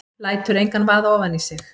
Lætur engan vaða ofan í sig.